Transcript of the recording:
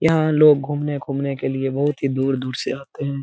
यहाँ लोग घूमने खुमने के लिए बोहोत ही दूर-दूर से आते है|